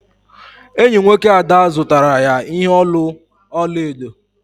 Enyi nwoke Ada zụtara ya ihe olu ọla edo.